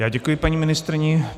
Já děkuji paní ministryni.